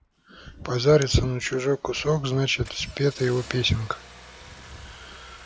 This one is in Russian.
позарится на чужой кусок значит спета его песенка